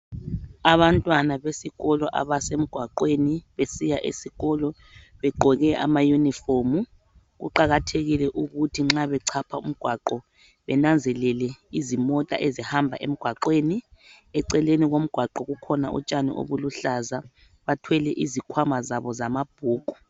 Abantwana besikolo abasemgwaqweni besiya esikolo begqoke amayunifomu kuqakathekile ukuthi nxa bechapha umgwaqo benanzelela izimota ezihamba emgwaqweni eceleni komgwaqo kukhona utshani obuluhlaza bathwele izikhwama zabo zamabhuku.